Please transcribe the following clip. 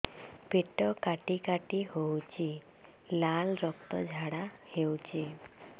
ପେଟ କାଟି କାଟି ହେଉଛି ଲାଳ ରକ୍ତ ଝାଡା ହେଉଛି